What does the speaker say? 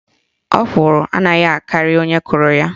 Ọkwụrụ anaghị akarị onye kọrọ ya.